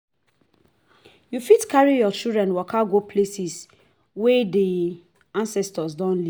you fit carry your children waka go places wey di ancestor don live